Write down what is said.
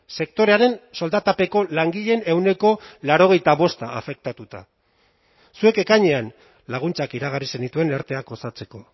sektorearen soldatapeko langileen ehuneko laurogeita bosta afektatuta zuek ekainean laguntzak iragarri zenituen erteak osatzeko